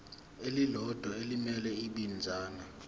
elilodwa elimele ibinzana